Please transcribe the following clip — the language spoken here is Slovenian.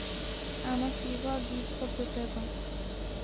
Ena figa, gips pa proteza.